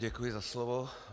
Děkuji za slovo.